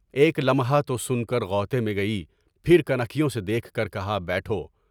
ایک لمحہ تو سن کر غوطے میں گئی، پھر کن انگلیوں سے دیکھ کر کہا بیٹھو۔